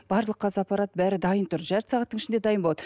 барлық қазір аппарат бәрі дайын тұр жарты сағаттың ішінде дайын болады